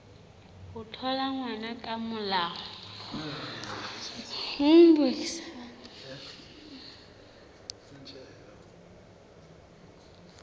ho thola ngwana ka molao